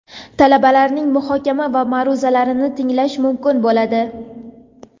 talabalarining muhokama va ma’ruzalarini tinglash mumkin bo‘ladi.